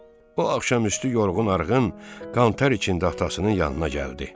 O axşamüstü yorğun-arğın, qantar içində atasının yanına gəldi.